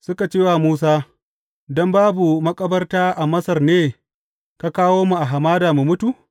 Suka ce wa Musa, Don babu makabarta a Masar ne, ka kawo mu a hamada mu mutu?